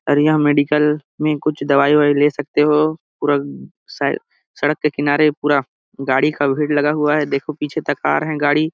और यह मेडिकल में कुछ दवाई -उवाई ले सकते हो पूरा स सड़क के किनारे गाड़ी का भिड़ लगा हुआ है देखो पिछे तक आ रहा है गाड़ी --